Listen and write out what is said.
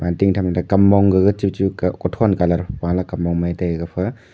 batting tham te kam mong gaga chuchu ka kothon colour kam mong mai tai gapha.